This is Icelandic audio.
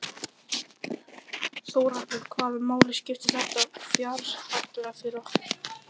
Þórhallur: Hvaða máli skiptir þetta fjárhagslega fyrir okkur?